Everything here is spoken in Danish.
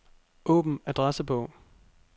Åbn adressebog.